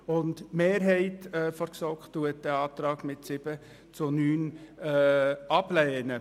Die Mehrheit der GSoK lehnt diesen Antrag mit 7 zu 9 Stimmen ab.